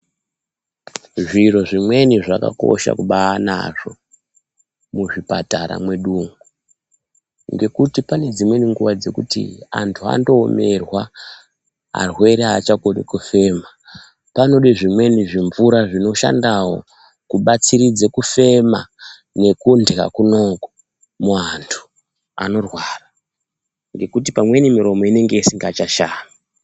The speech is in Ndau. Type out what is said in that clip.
Zviro zvimweni zvakakosha kubanazvo muzvipatara mwedumwo ngekuti pane dzimweni nguwa dzekuti antu anoomerwa arwere achakoni kufema panode zvimweni zvimvura zvinoshandawo kubatsiridze kufema nekundya kunoku muantu anorwara ngekuti pamweni miromo inenge isingachashami.